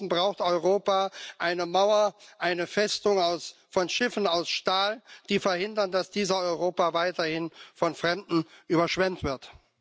Ansonsten braucht Europa eine Mauer, eine Festung von Schiffen aus Stahl, die verhindern, dass dieses Europa weiterhin von Fremden überschwemmt wird.